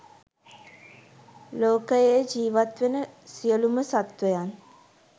මේලෝකයේ ජීවත්වෙන සියලුම සත්වයන්